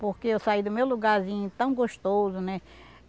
Porque eu saí do meu lugarzinho tão gostoso, né?